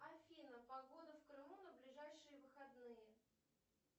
афина погода в крыму на ближайшие выходные